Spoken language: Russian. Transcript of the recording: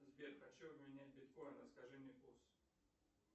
сбер хочу обменять биткоины скажи мне курс